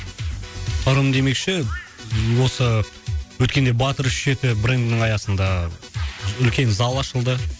ырым демекші осы өткенде батыр үш жеті брендінің аясында үлкен зал ашылды